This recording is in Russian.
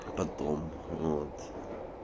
потом вот